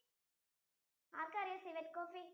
ആർക്കറിയാം civet coffee